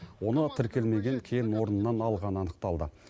оны тіркелмеген кен орнынан алғаны анықталды